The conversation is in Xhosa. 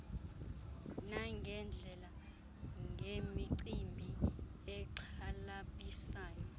nangeendlela ngemicimbi exhalabisayo